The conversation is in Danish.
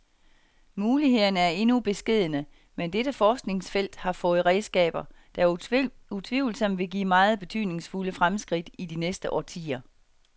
Mulighederne er endnu beskedne, men dette forskningsfelt har fået redskaber, der utvivlsomt vil give meget betydningsfulde fremskridt i de næste årtier.